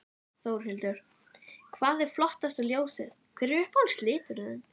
Þórhildur: Hvað er flottasta ljósið, hver er uppáhalds liturinn þinn?